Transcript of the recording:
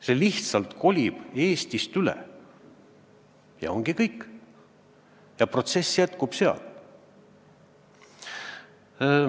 See lihtsalt kolib Eestist sinna üle ja ongi kõik, protsess jätkub seal.